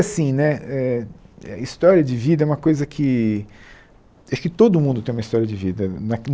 Assim né eh história de vida é uma coisa que... Acho que todo mundo tem uma história de vida.